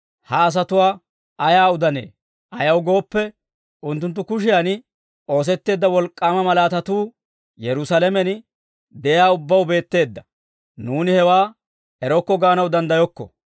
«Ha asatuwaa ayaa udanee? Ayaw gooppe, unttunttu kushiyan oosetteedda wolk'k'aama malaatatuu Yerusaalamen de'iyaa ubbaw beetteedda. Nuuni hewaa erokko gaanaw danddayokko.